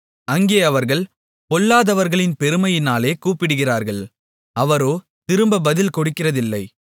அங்கே அவர்கள் பொல்லாதவர்களின் பெருமையினாலே கூப்பிடுகிறார்கள் அவரோ திரும்ப பதில் கொடுக்கிறதில்லை